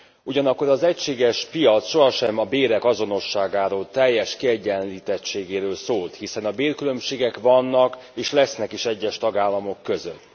Ugyanakkor az egységes piac sohasem a bérek azonosságáról, teljes kiegyenlítettségéről szólt, hiszen a bérkülönbségek vannak, és lesznek is az egyes tagállamok között.